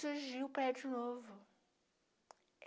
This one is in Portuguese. Surgiu o prédio novo.